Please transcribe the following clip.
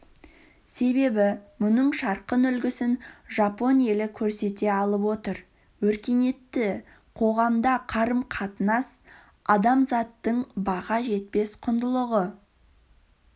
себебі мұның жарқын үлгісін жапон елі көрсете алып отыр өркениетті қоғамда қарым-қатынас адамзаттың баға жетпес құндылығы